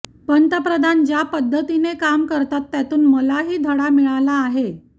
पंतप्रधान ज्या पद्धतीने काम करतात त्यातून मलाही धडा मिळाला आहे